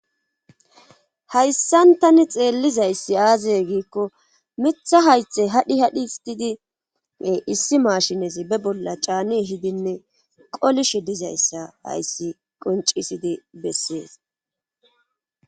hayssan tani xeellizayssi aazeye giikko mitha haythe hadhi hadhi histidi issi maashinezi be bolla caani hidinne qolishe dizayssa hayssi qoncisidi bessees